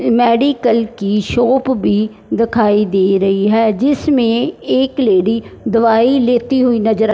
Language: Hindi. मेडिकल की शॉप भी दखाई दे रही है जिसमें एक लेडी दवाई लेती हुई नजर आ--